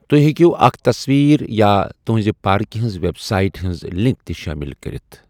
توہہِ ہیكِیو اكھ تصویر یا تٗہنزِ پاركہِ ہنزِ ویب سایٹہِ ہنز لِنك تہِ شٲمِل كرِتھ ۔